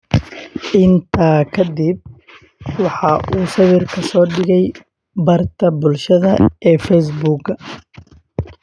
Intaa ka dib, waxa uu sawirka soo dhigay barta bulshada ee Facebook.